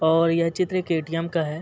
और ये चित्र एक एटीएम् का है।